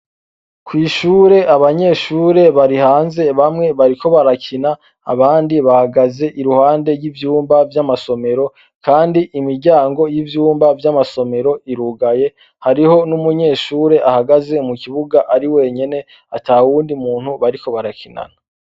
Kw' ishure, abanyeshure bamwe bariko barakina, abandi bahagaze iruhande y' ivyumba vy'amasomero, kandi imiryango y' ivyumba vy' amasomero irugaye, hariho n' umunyeshure ahagaze mu kibuga ari wenyene, atawundi muntu bariko barakinana.